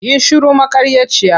Yi shiru maƙaryaci!